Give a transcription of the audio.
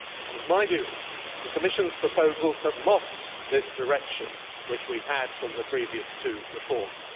In my view, the Commission's proposals have lost the direction which we had from the previous two reports.